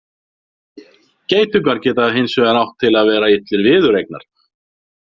Geitungar geta hins vegar átt til að vera illir viðureignar.